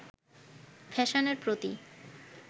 ফ্যাশনের প্রতি